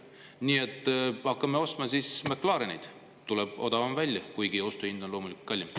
Nii et hakkame ostma siis McLareneid, tuleb odavam välja, kuigi ostuhind on loomulikult kallim.